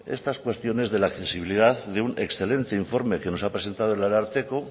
estas cuestiones de la accesibilidad de un excelente informe que nos ha presentado el ararteko